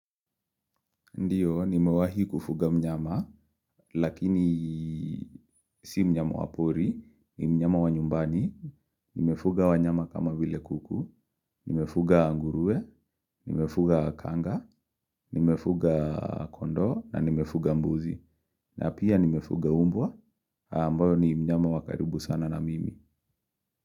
Ndiyo, nimewahi kufuga mnyama, lakini, si mnyama wapori. Ni mnyama wa nyumbani. Nimefuga wanyama kama vile kuku, nimefuga nguruwe, nimefuga kanga, nimefuga kondoo, na nimefuga mbuzi, na pia, nimefuga umbwa, ambayo ni mnyama wa karibu sana na mimi.